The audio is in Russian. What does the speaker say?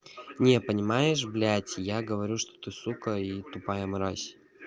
не понимаешь блядь я говорю что ты сука и тупая мразь